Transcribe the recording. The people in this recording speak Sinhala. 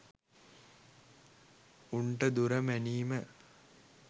උන්ට දුර මැනීම